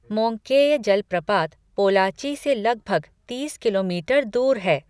Monkey जलप्रपात पोलाची से लगभग तीस किलोमीटर दूर है।